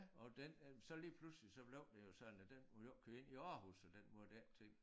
Og den øh så lige pludselig så blev det jo sådan at den måtte ikke køre ind i Aarhus og den måtte ikke ting